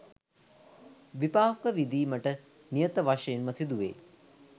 විපාක විඳීමට නියත වශයෙන්ම සිදුවෙයි.